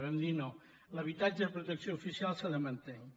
i vam dir no l’habitatge de protecció oficial s’ha de mantenir